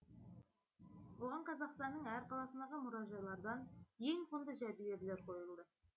оған қазақстанның әр қаласындағы мұражайлардан ең құнды жәдігерлер қойылды